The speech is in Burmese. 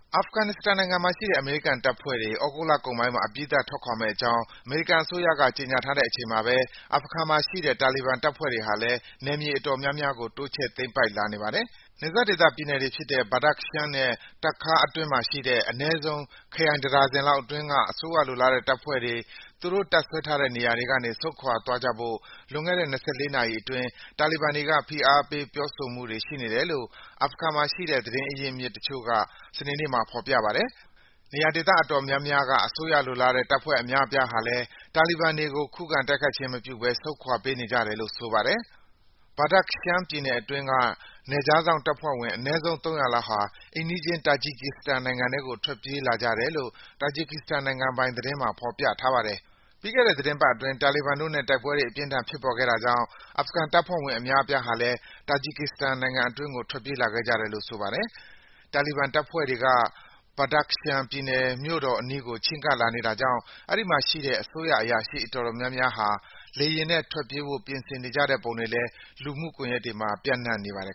အာဖဂန်နစ္စတန်နိုင်ငံမှာရှိတဲ့ အမေရိကန်တပ်ဖွဲ့တွေ သြဂုတ်လကုန်ပိုင်းမှာ အပြီးသတ် ထွက်ခွာမယ့်အကြောင်း အမေရိကန်အစိုးရက ကြေညာထားတဲ့ အချိန်မှာပဲ အာဖဂန်မှာရှိတဲ့ တာလီဘန်တပ်ဖွဲ့တွေဟာလည်း နယ်မြေအတော်များများကို တိုးချဲ့ သိမ်းပိုက်လာနေပါတယ်။ နယ်စပ်ဒေသ ပြည်နယ်တွေဖြစ်တဲ့ Badakhshan နဲ့ Takhar အတွင်းမှာရှိတဲ့ အနည်းဆုံး ခရိုင်တဒါဇင်လောက်အတွင်းက အစိုးရလိုလားတဲ့ တပ်ဖွဲ့တွေ သူတို့တပ်စွဲထားတဲ့ နေရာတွေကနေ ဆုတ်ခွာသွားကြဖို့ လွန်ခဲ့တဲ့ ၂၄ နာရီအတွင်း ဖိအားပေး ပြောဆိုမှုတွေ ရှိနေတယ်လို့ အာဖဂန်မှာရှိတဲ့ သတင်းရင်းမြစ်တချို့က စနေနေ့မှာ ပြောပါတယ်။ နေရာဒေသ အတော်များများက အစိုးရလိုလားတဲ့ တပ်ဖွဲ့အများအပြားဟာလည်း တာလီဘန်တွေကို ခုခံတိုက်ခိုက်ခြင်းမပြုဘဲ ဆုတ်ခွာပေးနေကြတယ်လို့ ဆိုပါတယ်။ Badakhshan ပြည်နယ်အတွင်းက နယ်ခြားစောင့်တပ်ဖွဲ့ဝင် အနည်းဆုံး ၃၀၀ လောက်ဟာ အိမ်နီးချင်း Tajikistan နိုင်ငံထဲကို ထွက်ပြေးလာကြတယ်လို့ Tajikistan နိုင်ငံပိုင်သတင်းမှာ ဖော်ပြထားပါတယ်။ ပြီးခဲ့တဲ့သီတင်းပတ်အတွင်း တာလီဘန်တို့နဲ့ တိုက်ပွဲတွေ အပြင်းအထန် ဖြစ်ပေါ်ခဲ့တာကြောင့် အာဖဂန်တပ်ဖွဲ့ဝင် အများအပြား Tajikistan နိုင်ငံအတွင်းကို ထွက်ပြေးခဲ့ကြတယ်လို့ ဆိုပါတယ်။ တာလီဘန်တပ်ဖွဲ့တွေက Badakhshan ပြည်နယ် မြို့တော်အနီးကို ချဉ်းကပ်လာနေတာကြောင့် အဲဒီမှာရှိတဲ့ အစိုးရအရာရှိ အတော်များများ လေယာဉ်နဲ့ ထွက်ပြေးဖို့ ပြင်ဆင်နေတဲ့ပုံတွေလည်း လူမှုကွန်ရက်တွေမှာ ပျံ့နှံ့နေပါတယ်